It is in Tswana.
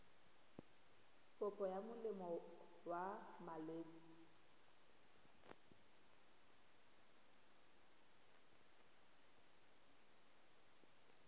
kopo ya molemo wa malwetse